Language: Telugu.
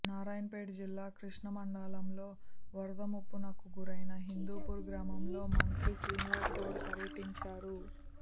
నారాయణపేట్ జిల్లా కృష్ణ మండలంలో వరద ముపునకు గురైన హిందూపూర్ గ్రామంలో మంత్రి శ్రీనివాస్ గౌడ్ పర్యటించారు